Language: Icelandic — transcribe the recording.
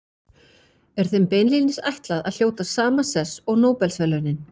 Er þeim beinlínis ætlað að hljóta sama sess og Nóbelsverðlaunin.